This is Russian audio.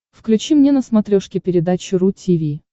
включи мне на смотрешке передачу ру ти ви